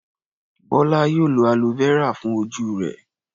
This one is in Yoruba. Bọ́lá yóò lo aloe vera fún ojú rẹ̀.